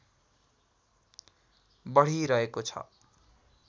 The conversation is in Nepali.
बढिरहेको छ